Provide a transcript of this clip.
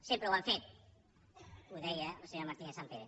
sempre ho han fet ho deia la senyora martínez sampere